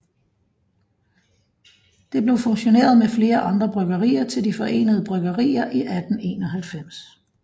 Det blev fusioneret med flere andre bryggerier til De Forenede Bryggerier i 1891